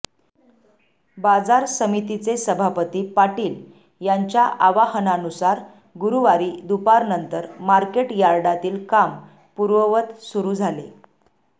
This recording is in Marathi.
बाजार समितीचे सभापती पाटील यांच्या आवाहनानुसार गुरूवारी दुपारनंतर मार्केट यार्डातील काम पूर्ववत सुरू झाले